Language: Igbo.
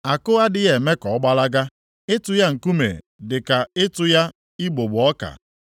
Àkụ adịghị eme ka ọ gbalaga, ịtụ ya nkume dị ka ịtụ ya igbugbo ọka.